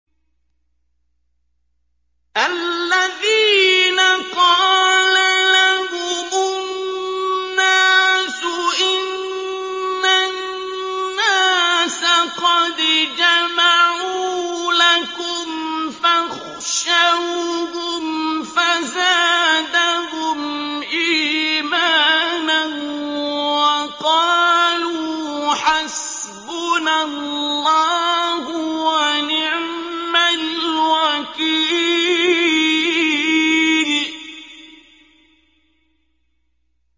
الَّذِينَ قَالَ لَهُمُ النَّاسُ إِنَّ النَّاسَ قَدْ جَمَعُوا لَكُمْ فَاخْشَوْهُمْ فَزَادَهُمْ إِيمَانًا وَقَالُوا حَسْبُنَا اللَّهُ وَنِعْمَ الْوَكِيلُ